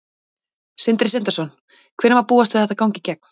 Sindri Sindrason: Hvenær má búast við að þetta gangi í gegn?